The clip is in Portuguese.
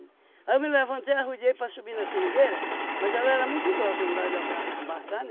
Aí eu me levantei, arrudiei para subir na seringueira, mas ela era muito grossa, não dava de ambra embarcar,